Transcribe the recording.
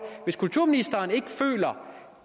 hvis kulturministeren ikke føler